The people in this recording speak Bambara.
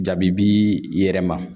Jaabi b'i yɛrɛ ma